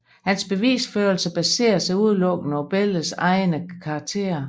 Hans bevisførelse baserer sig udelukkende på billedernes egne karakterer